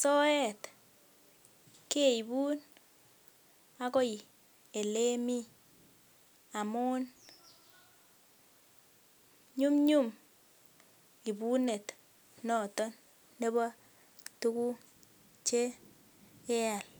soet keibun akoi elemii amun nyumnyum ibunet noton nebo tuguk chekeal